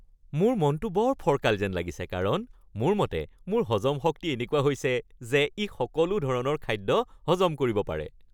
মোৰ মনটো বৰ ফৰকাল যেন লাগিছে কাৰণ মোৰ মতে মোৰ হজম শক্তি এনেকুৱা হৈছে যে ই সকলো ধৰণৰ খাদ্য হজম কৰিব পাৰে।